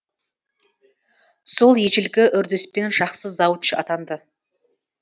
сол ежелгі үрдіспен жақсы завуч атанды